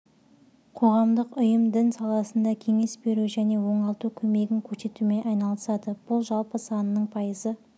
қоғамдық ұйым дін саласында кеңес беру және оңалту көмегін көрсетумен айналысады бұл жалпы санының пайызы